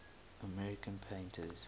american painters